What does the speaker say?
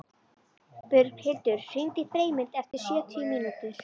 Björghildur, hringdu í Freymund eftir sjötíu mínútur.